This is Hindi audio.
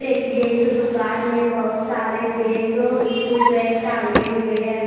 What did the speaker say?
देखिए इस दुकान में बहुत सारे बैग एसस्कूल बैग टांगे हुए हैं।